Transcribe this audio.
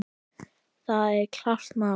Það er klárt mál.